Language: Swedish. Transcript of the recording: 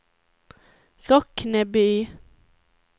Rockneby